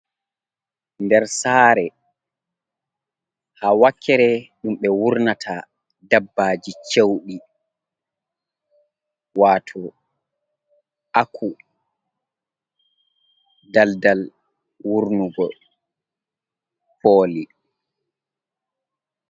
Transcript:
Nder sare, ha wakere ɗum ɓe wurnata dabbaji cewɗii, wato aku. daldal wurnugo poli.